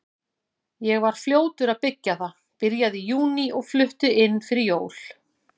Ég var fljótur að byggja það, byrjaði í júní og flutti inn fyrir jól.